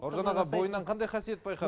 бауыржан аға бойынан қандай қасиет